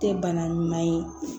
Tɛ bana ɲuman ye